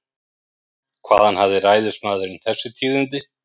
Hvaðan hafði ræðismaðurinn þessi tíðindi?